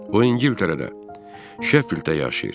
O İngiltərədə, Şeffilddə yaşayır.